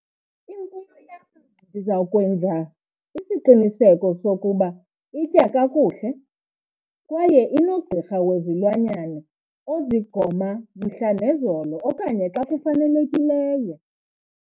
Imfuyo yam ndiza kwenza isiqiniseko sokuba itya kakuhle kwaye inogqirha wezilwanyana ozigoma mhla nezolo okanye xa kufanelekileyo.